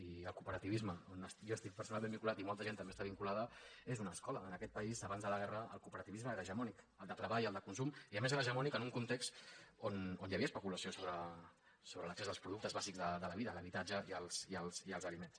i el cooperativisme on jo estic personalment vinculat i molta gent també està vinculada és una escola en aquest país abans de la guerra el cooperativisme era hegemònic el de treball el de consum i a més era hegemònic en un context on hi havia especulació sobre l’accés als productes bàsics de la vida l’habitatge i els aliments